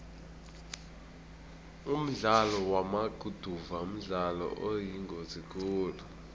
umdlalo wamaguduva mdlalo oyingozi khulu